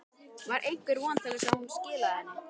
Var einhver von til þess að hún skilaði henni?